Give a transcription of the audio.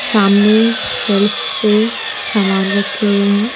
सामने शेल्फ पे समान रखे हुए हैं।